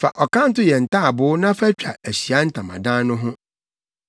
“Fa ɔkanto yɛ ntaaboo na fa twa Ahyiae Ntamadan no ho.